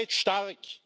Ihr seid stark!